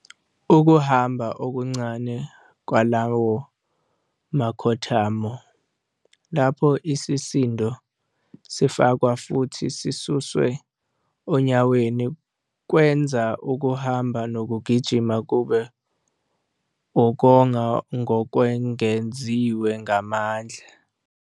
Ukuhamba okuncane kwalawa makhothamo lapho isisindo sifakwa futhi sisuswe onyaweni kwenza ukuhamba nokugijima kube ukonga ngokwengeziwe ngamandla.